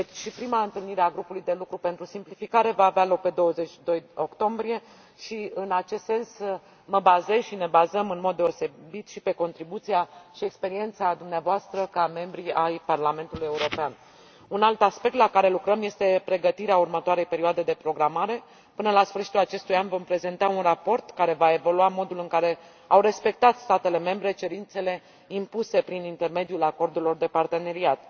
Prima întâlnire a grupului de lucru pentru simplificare va avea loc pe 22 octombrie și, în acest sens, mă bazez și ne bazăm, în mod deosebit, și pe contribuția și experiența dumneavoastră ca membri ai Parlamentului European. Un alt aspect la care lucrăm este pregătirea următoarei perioade de programare. Până la sfârșitul acestui an, vom prezenta un raport care va evalua modul în care au respectat statele membre cerințele impuse prin intermediul acordurilor de parteneriat.